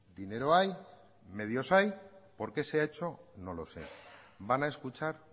dinero hay medios hay por qué se ha hecho no lo sé van a escuchar